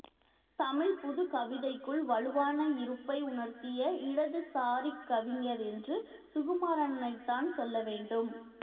தமிழ் புதுக்கவிதைக்குள் வலுவான இருப்பை உணர்த்திய இடதுசாரிக் கவிஞர் என்று சுகுமாரனைத்தான் சொல்லவேண்டும்